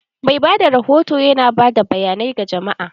Mai bada rahoto yana ba da bayanai ga jama'a.